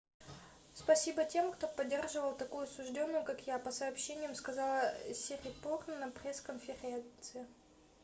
спасибо тем кто поддерживал такую осуждённую как я - по сообщениям сказала сирипорн на пресс-конференции